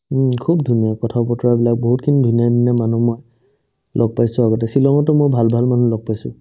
উম্, খুব ধুনীয়া কথা-বতৰাবিলাক বহুতখিনি ধুনীয়া ধুনীয়া মানুহ মই লগ পাইছো আগতে ছিলঙতো মই ভাল ভাল মানুহ লগ পাইছো